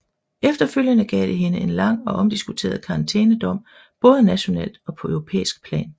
Efterfølgende gav det hende en lang og omdiskuteret karantænedom både nationalt og på europæisk plan